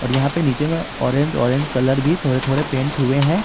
यहां पे नीचे में ऑरेंज ऑरेंज कलर भी थोड़े थोड़े पेंट हुए हैं।